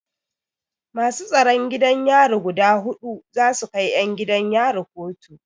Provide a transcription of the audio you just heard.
Masu tsaron gidan yari guda huɗu za su kai 'yan gidan yari kotu.